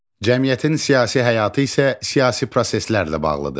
Cəmiyyətin siyasi həyatı isə siyasi proseslərlə bağlıdır.